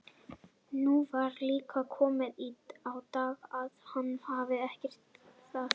Nú var líka komið á daginn að hann hafði ekki gert það.